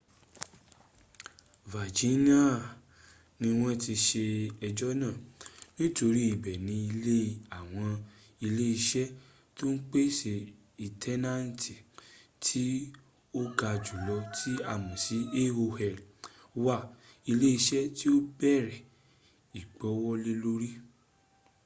virginia ni wọ́n ti ṣe ẹjọ́ náà nítorí ibẹ̀ ni ilé àwọn ile iṣẹ tó ń pèsè intanẹtì tí ó ga jùlọ tí a mọ̀ sí aol wà ilé iṣẹ́ tí ó bẹ̀rẹ̀ ìgbówólélórí